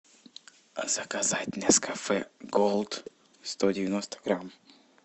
заказать нескафе голд сто девяносто грамм